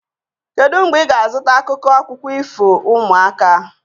Kedu mgbe ị ga-azụta akwụkwọ akụkọ ifo ụmụaka?